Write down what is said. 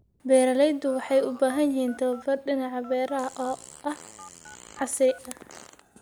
Beeraleydu waxay u baahan yihiin tababar dhinaca beeraha ah oo casri ah.